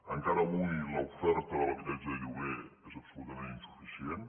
encara avui l’oferta de l’habitatge de lloguer és absolutament insuficient